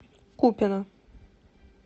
купино